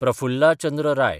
Prafulla Chandra Rai